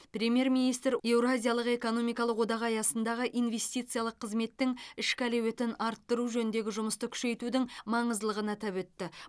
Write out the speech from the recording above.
премьер министр еуразиялық экономикалық одақ аясындағы инвестициялық қызметтің ішкі әлеуетін арттыру жөніндегі жұмысты күшейтудің маңыздылығын атап өтті